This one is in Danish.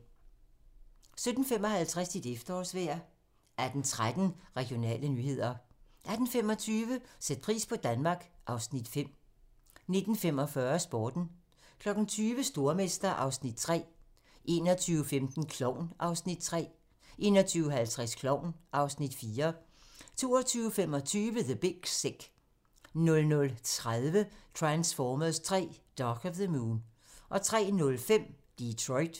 17:55: Dit efterårsvejr 18:13: Regionale nyheder 18:25: Sæt pris på Danmark (Afs. 5) 19:45: Sporten 20:00: Stormester (Afs. 3) 21:15: Klovn (Afs. 3) 21:50: Klovn (Afs. 4) 22:25: The Big Sick 00:30: Transformers 3: Dark of the Moon 03:05: Detroit